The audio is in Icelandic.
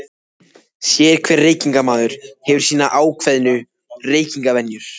Sérhver reykingamaður hefur sínar ákveðnu reykingavenjur.